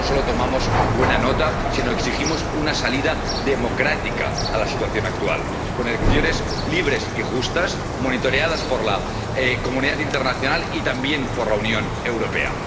Nosotros no solo tomamos buena nota, sino exigimos una salida democrática a la situación actual, con elecciones libres y justas, monitoreadas por la comunidad internacional y también por la Unión Europea.